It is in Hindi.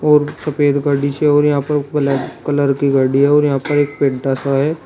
और सफेद गाड़ी से और यहां पर ब्लैक कलर की गाड़ी है और यहां पर एक पेंटा सा है।